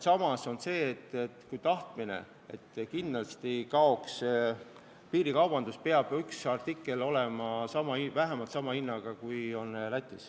Samas on selge, et kui me tahame kindlasti piirikaubanduse lõpetada, siis peab üks kahest tähtsast artiklist olema kui mitte odavam, siis vähemalt sama hinnaga kui Lätis.